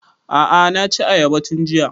A'a na ci ayaba tun jiya